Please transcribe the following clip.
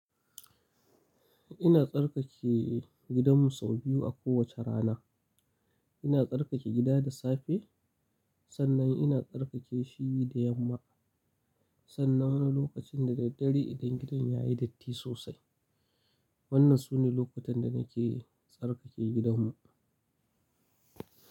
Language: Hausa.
Ina tsarkake gidanmu sau biyu a kowace rana. Ina tsarkake gida da safe sannan ina tsarkake shi da yamma. Sannan wani lokacin da daddare idan gidan ya yi datti sosai. Wannan sune lokutan da nake tsarkake gidanmu.